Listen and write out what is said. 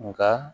Nka